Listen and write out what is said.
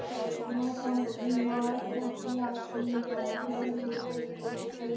Nákvæma kortlagningu allra lauga og volgra á svæðinu.